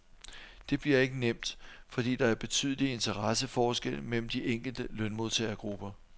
Det bliver ikke nemt, fordi der er betydelige interesseforskelle mellem de enkelte lønmodtagergrupper.